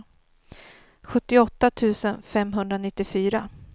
sjuttioåtta tusen femhundranittiofyra